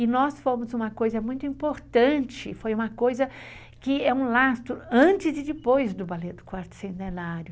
E nós fomos uma coisa muito importante, foi uma coisa que é um lastro antes e depois do Ballet do Quarto Centenário.